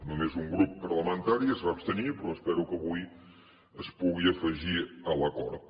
només un grup parlamentari es va abstenir però espero que avui es pugui afegir a l’acord